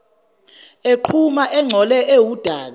eqhuma engcole ewudaka